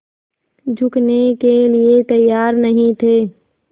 झुकने के लिए तैयार नहीं थे